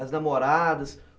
As namoradas?